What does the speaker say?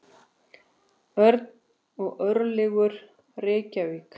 Örn og Örlygur, Reykjavík.